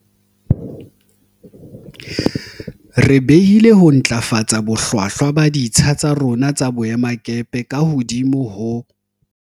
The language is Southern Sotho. Re behile ho ntlafatsa bohlwa hlwa ba ditsha tsa rona tsa boe makepe ka hodimo ho